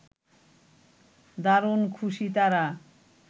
দারুণ খুশি তারা